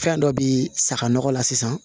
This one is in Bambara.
Fɛn dɔ bi saga nɔgɔ la sisan